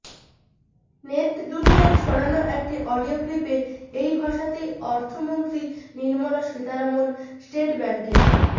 net দুনিয়ায় ছড়ানো একটি অডিয়ো ক্লিপে এই ভাষাতেই অর্থমন্ত্রী নির্মলা সীতারামন স্টেট ব্যাঙ্কের